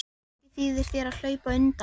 Og ekki þýðir þér að hlaupa undan.